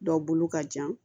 Dɔ bolo ka jan